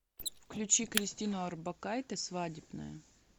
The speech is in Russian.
включи кристину орбакайте свадебная